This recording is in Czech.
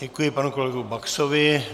Děkuji panu kolegu Baxovi.